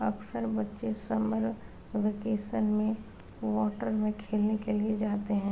अक्सर बच्चे summer vacation में वॉटर में खेलने के लिए जाते हैं।